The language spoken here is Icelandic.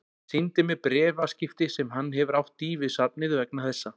Sýndi mér bréfaskipti sem hann hefur átt í við safnið vegna þessa.